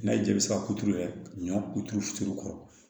N'a y'i ja i bɛ se k'a turu yɛrɛ ɲɔ kuturu kɔrɔ